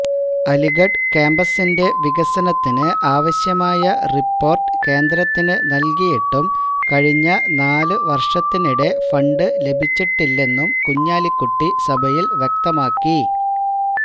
അലിഗഢ് ക്യാമ്പസിന്റെ വികസനത്തിന് ആവശ്യമായ റിപ്പോര്ട്ട് കേന്ദ്രത്തിന് നല്കിയിട്ടും കഴിഞ്ഞ നാല് വര്ഷത്തിനിടെ ഫണ്ട് ലഭിച്ചിട്ടില്ലെന്നും കുഞ്ഞാലിക്കുട്ടി സഭയില് വ്യക്തമാക്കി